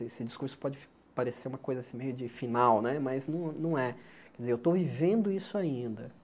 Esse discurso pode parecer uma coisa meio assim de final né, mas não não é. Quer dizer, eu estou vivendo isso ainda.